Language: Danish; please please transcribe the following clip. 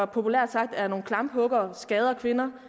populært sagt er nogle klamphuggere og skader kvinder